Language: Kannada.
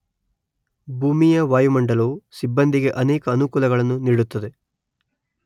ಭೂಮಿಯ ವಾಯುಮಂಡಲವು ಸಿಬ್ಬಂದಿಗೆ ಅನೇಕ ಅನುಕೂಲತೆಗಳನ್ನು ನೀಡುತ್ತದೆ.